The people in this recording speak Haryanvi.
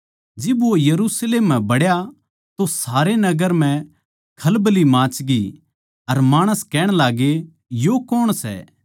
जिब वो यरुशलेम म्ह बड़या तो सारे नगर म्ह खलबल्ली माचगी अर माणस कहण लाग्गे यो कौण सै